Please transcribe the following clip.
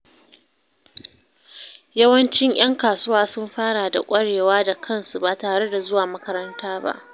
Yawancin ’yan kasuwa sun fara da ƙwarewa da kansu ba tare da zuwa makaranta ba.